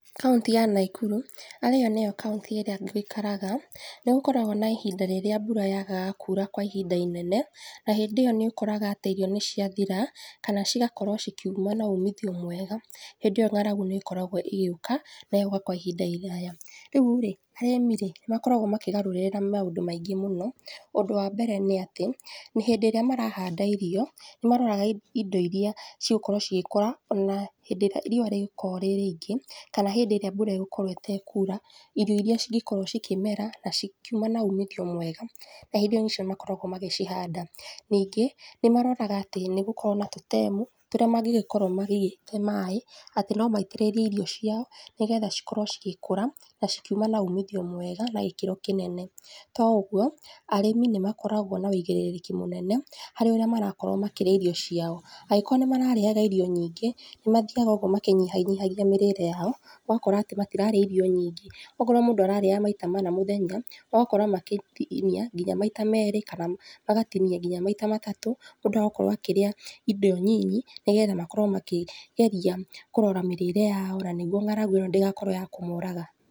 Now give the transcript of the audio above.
Kauntĩ ya Naikuru, arĩyo nĩyo kaũntĩ ĩrĩa njikaraga, nĩgukoragwo na ihinda rĩrĩa mbura yagaga kura kwa ihinda inene, na hindĩ iyo nĩũkoraga atĩ irio nĩciathira, kana cigakorwo cikiuma na ũmithio mwega. Hĩndĩ ĩyo ng’aragu nĩkoragwo ĩgĩũka, na ĩgoka kwa ihinda iraya. Rĩurĩ, arĩmirĩ makoragwo makigarũrĩra maũndũ maigĩ mũno. Ũndũ wa mbere nĩ atĩ, nĩ hĩndĩ ĩrĩa marahanda irio, nĩmaroraraga indo iria cigũkorwo cigĩkũra ona hindĩ irĩa riua rĩgũkorwo rĩ rĩingĩ, kana hindĩ ĩrĩa mbura ĩgũkorwo ĩtekura, irio iria cingĩkorwo cikĩmera na cikiuma na umithio mwega. Na hindĩ ĩyo nĩcio makoragwo magĩcihanda. Ningĩ nĩmaroraga atĩ nĩgũkoragwo na tũtemu tũrĩa mangĩgĩkorwo makĩigĩte maĩ atĩ no maitĩrĩrie irio ciao nĩgetha cikorwo cigĩkũra, na cikiuma na umithio mwega, na gĩkĩro kĩnene. To ũguo, arĩmi nĩmakoragwo na wĩigĩrĩrĩki mũnene, harĩ ũrĩa marakorwo makĩrĩa irio ciao. Angĩkorwo nĩ mararĩaga irio nyingĩ, nĩmathiaga ũguo makĩnyihanyihagia mĩrĩre yao, ũgakora atĩ matirarĩa irio nyingĩ. Okorwo mũndũ ararĩaga maita mana mũthenya, ũgakora makĩtinia nginya maita merĩ kana magatinia nginya maita matatũ, mũndũ agakorwo akĩrĩa indo nyinyi, nĩgetha makorwo makĩgeria kũrora mĩrĩre yao, nanĩguo ng’aragu ĩno ndĩgakorwo ya kũmoraga.